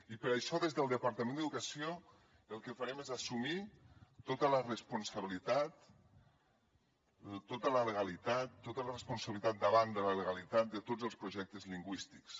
i per això des del departament d’educació el que farem és assumir tota la responsabilitat tota la legalitat tota la responsabilitat davant de la legalitat de tots els projectes lingüístics